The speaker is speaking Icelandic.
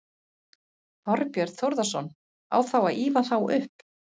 Þorbjörn Þórðarson: Á þá að ýfa þá upp?